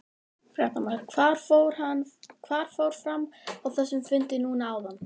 Fréttamaður: Hvað fór fram á þessum fundi núna áðan?